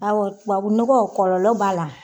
Awɔ tubabunɔgɔ kɔlɔlɔ b'a la.